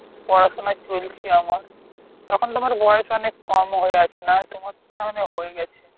পড়াশুনা চলছে আমার। আর এখন তো আমার বয়েস অনেক কম হয়ে আছে। না তোমার তো নাহলে হয়ে গেছে।